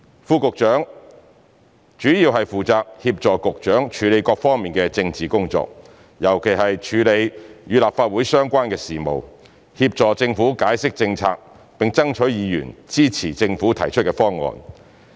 副局長主要負責協助局長處理各方面的政治工作，尤其是處理與立法會相關的事務，協助政府解釋政策，並爭取議員支持政府提出的方案。